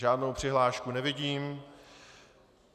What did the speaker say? Žádnou přihlášku nevidím.